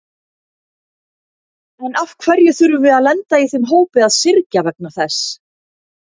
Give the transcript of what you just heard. En af hverju þurfum við að lenda í þeim hópi að syrgja vegna þess?